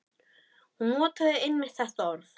Hún notaði einmitt þetta orð.